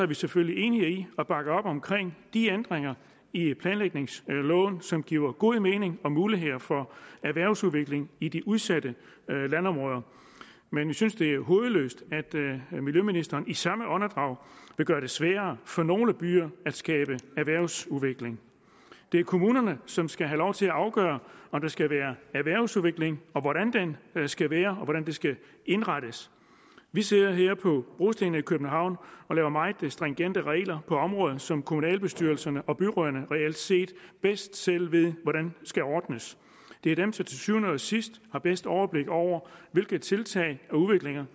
vi selvfølgelig enige i og bakker op om de ændringer i planlægningsloven som giver god mening og muligheder for erhvervsudviklingen i de udsatte landområder men vi synes det er hovedløst at miljøministeren i samme åndedrag vil gøre det sværere for nogle byer at skabe erhvervsudvikling det er kommunerne som skal have lov til at afgøre om der skal være erhvervsudvikling og hvordan den skal være og hvordan den skal indrettes vi sidder her på brostenene i københavn og laver meget stringente regler på områder som kommunalbestyrelserne og byrødderne reelt set bedst selv ved hvordan skal ordnes det er dem som til syvende og sidst har bedst overblik over hvilke tiltag og udviklinger